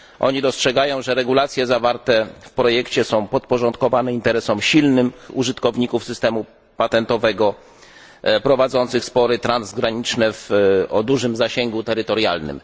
Oni dostrzegają, że regulacje zawarte w projekcie są podporządkowane interesom silnych użytkowników systemu patentowego prowadzących spory transgraniczne o dużym zasięgu terytorialnym.